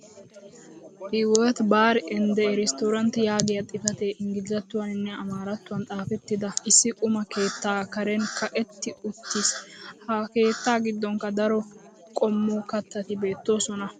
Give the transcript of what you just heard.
"hiwot bar and restorant" yaagiya xifatee ingglizzattuwaninne amaarattuwan xafettidi issi quma keettaa karen kaqetti uttiis. ha keettaa giddonkka daro qommo katatti beetoosona.